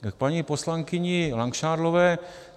K paní poslankyni Langšádlové.